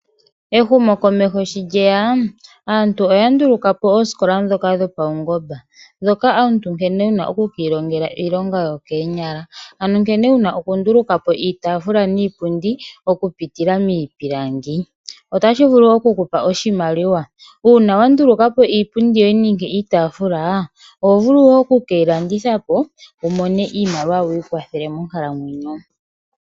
Ehumo komeho sho lyeya aantu oya ndulukapo oosikola dhoka dhopawungomba, dhoka omuntu nkene wuna oku kilongela iilonga yokenyala, ano nkene wuna oku ndulukapo iitafula niipundi oku pitila mipilangi , ota shivulu oku kupa oshimaliwa una wandulukapo iipundi niitafula ohovulu wo oku keyi landithapo wumone iimaliwa wikwathe monkalamwenyo.